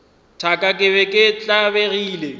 thaka ke be ke tlabegile